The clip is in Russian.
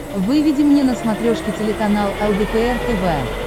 выведи мне на смотрешке телеканал лдпр тв